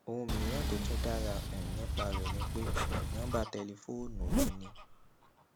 ohun mìíràn tó tún dára um nípa rè ni pé um nóńbà tẹlifóònù mi ni